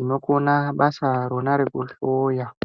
inokona basa ronaro rokuhloya .